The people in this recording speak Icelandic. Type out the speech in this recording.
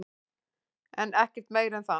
En ekkert meira en það.